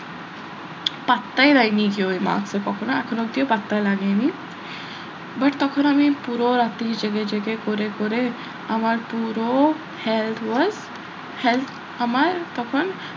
পাত্তাই দেয়নি কেউ ওই marks এ কখনো এখনো অব্দিও পাত্তাই লাগেনি but তখন আমি পুরো রাত্রি জেগে জেগে করে করে আমার পুরো health was health আমার তখন,